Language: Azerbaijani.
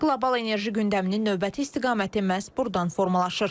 Qlobal enerji gündəminin növbəti istiqaməti məhz burdan formalaşır.